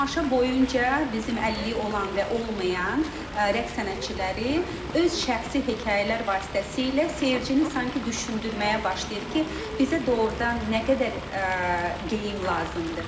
Tamaşa boyunca bizim əliliyi olan və olmayan rəqs sənətçiləri öz şəxsi hekayələr vasitəsilə seyircini sanki düşündürməyə başlayır ki, bizə doğurdan nə qədər geyim lazımdır.